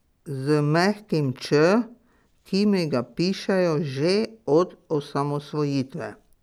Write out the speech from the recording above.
Z mehkim ć, ki mi ga pišejo že od osamosvojitve.